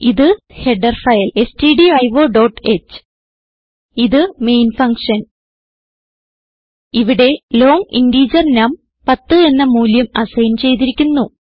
ഇത് header file stdioഹ് ഇത് മെയിൻ ഫങ്ഷൻ ഇവിടെ ലോങ് ഇന്റഗർ നം 10 എന്ന മൂല്യം അസൈൻ ചെയ്തിരിക്കുന്നു